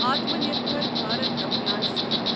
Atma Nirbhar Bharat Abhiyan scheme